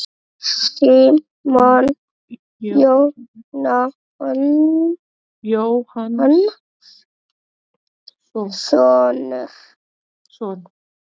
Símon Jón Jóhannsson.